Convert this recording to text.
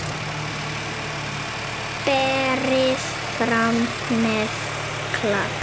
Berið fram með klaka.